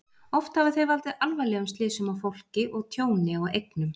Oft hafa þau valdið alvarlegum slysum á fólki og tjóni á eignum.